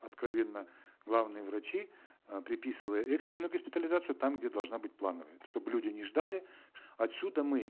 откровенно главные врачи э приписывая экстренную госпитализацию там где должна быть плановая чтобы люди не ждали отсюда мы